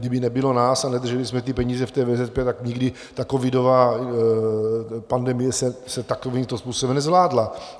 Kdyby nebylo nás a nedrželi jsme ty peníze v té VZP, tak nikdy ta covidová pandemie se takovým způsobem nezvládla.